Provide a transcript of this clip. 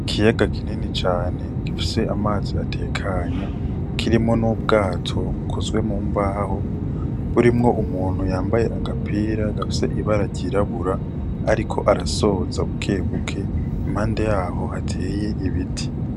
Ikiyaga kinini cane gifise amazi atekanye kirimwo n'ubwato bukozwe mu mbaho burimwo umuntu yambaye agapira gafise ibara ry'irabura ariko arasoza bukebuke impande yaho hateye ibiti.